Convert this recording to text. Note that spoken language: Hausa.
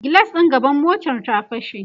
gilas ɗin gaban motar ta fashe